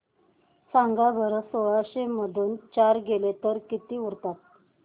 सांगा बरं सोळाशे मधून चार गेले तर किती उरतात